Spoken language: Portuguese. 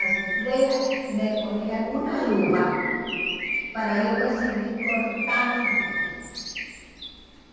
As freiras me poriam uma luva para eu conseguir cortar com a direita.